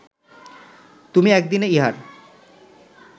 তুমি এক দিনে ইহার